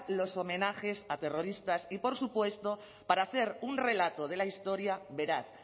los homenajes a terroristas y por supuesto para hacer un relato de la historia veraz